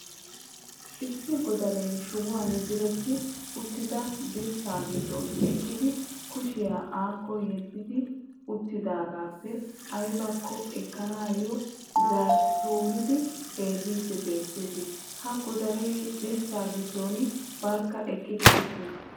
issi Godaree shuban diretti uttida dirssaa giddon eqqidi kushiya akko yeddi uttoogaappe aybakko ekkanawu zaatturidi xeelliidi beettees. Ha Godaree dirssa giddon barkka eqqi uttiis.